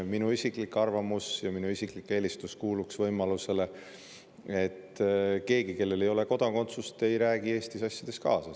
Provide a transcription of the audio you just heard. Minu isiklik arvamus ja minu isiklik eelistus kuuluks võimalusele, et keegi, kellel ei ole kodakondsust, ei räägi Eesti asjades kaasa.